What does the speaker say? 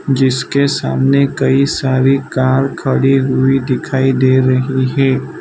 जिसके सामने कई सारी कार खड़ी हुई दिखाई दे रही है।